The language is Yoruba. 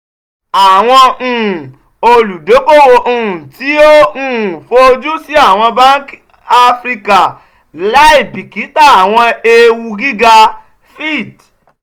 awọn um oludokoowo um ti o um fojusi awọn banki afirika laibikita awọn eewu giga - fitch